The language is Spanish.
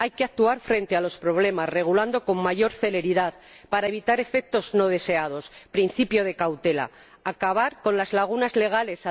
Hay que actuar frente a los problemas regulando con mayor celeridad para evitar efectos no deseados ―principio de cautela― y acabar con las lagunas legales.